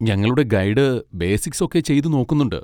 ഞങ്ങളുടെ guide basics ഒക്കെ ചെയ്തുനോക്കുന്നുണ്ട്.